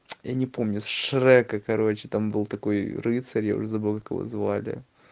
я не помню с шрека короче там был такой рыцарь я уже забыл как его звали